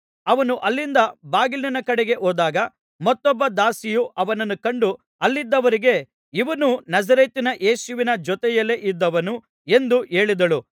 ಅವನು ಅಲ್ಲಿಂದ ಬಾಗಿಲಿನ ಕಡೆಗೆ ಹೋದಾಗ ಮತ್ತೊಬ್ಬ ದಾಸಿಯು ಅವನನ್ನು ಕಂಡು ಅಲ್ಲಿದ್ದವರಿಗೆ ಇವನೂ ನಜರೇತಿನ ಯೇಸುವಿನ ಜೊತೆಯಲ್ಲಿ ಇದ್ದವನು ಎಂದು ಹೇಳಿದಳು